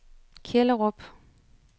Kjellerup